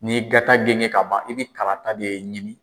N'i ye gata genge ka ban i bi karata de ɲini.